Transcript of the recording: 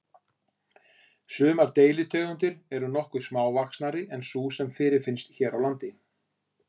Sumar deilitegundir eru nokkuð smávaxnari en sú sem fyrirfinnst hér á landi.